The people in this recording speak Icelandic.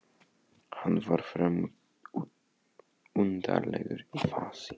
Hann var fremur undarlegur í fasi.